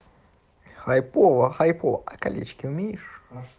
хайпово хайпо а колечки умеешь